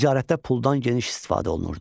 Ticarətdə puldan geniş istifadə olunurdu.